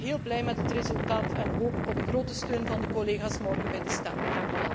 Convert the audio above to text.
Ik ben dan ook heel blij met het resultaat en hoop op grote steun van de collega's morgen bij de stemming.